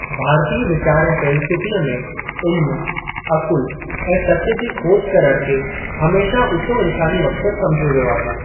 भारतीय वीचार ऐं फे़ल्सूफ़ीअ में इल्म, अकुल ऐं सत्य जी खोज करण खे हमेशह ऊंचो इंसानी मक़्सद सम्झियो वियो आहे।